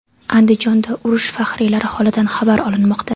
Andijonda urush faxriylari holidan xabar olinmoqda .